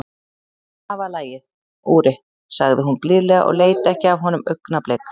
Það var lagið, Úri, sagði hún blíðlega og leit ekki af honum augnablik.